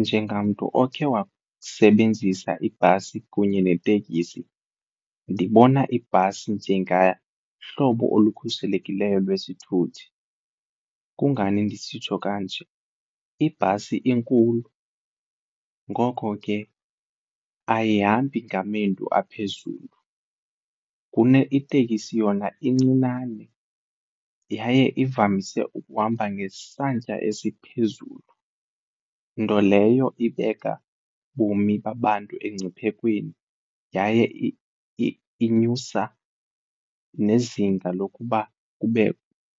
Njengamntu okhe wasebenzisa ibhasi kunye netekisi, ndibona ibhasi njengahlobo olukhuselekileyo lwesithuthi. Kungani ndisitsho kanje? Ibhasi inkulu ngoko ke ayihambi ngamendu aphezulu, itekisi yona incinane yaye ivamise ukuhamba ngesantya esiphezulu nto leyo ibeka ubomi babantu emngciphekweni yaye inyusa nezinga lokuba